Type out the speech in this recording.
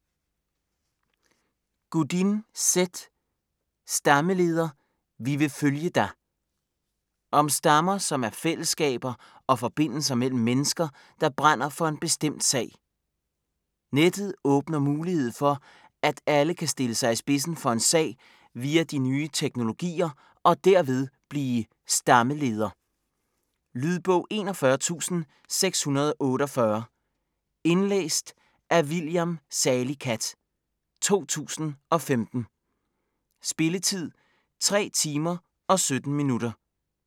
Godin, Seth: Stammeleder: vi vil følge dig Om stammer, som er fællesskaber og forbindelser mellem mennesker, der brænder for en bestemt sag. Nettet åbner mulighed for, at alle kan stille sig i spidsen for en sag via de nye teknologier og derved blive "stammeleder". Lydbog 41648 Indlæst af William Salicath, 2015. Spilletid: 3 timer, 17 minutter.